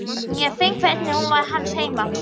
Ég finn hvernig hún var hans heima.